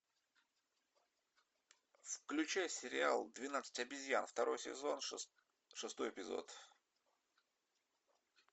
включай сериал двенадцать обезьян второй сезон шестой эпизод